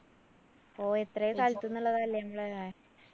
ഓ എത്ര സ്ഥലത്തുന്നുള്ളത